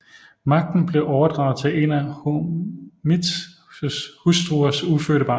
Magten blev overdraget til en af Hormizds hustruers ufødte barn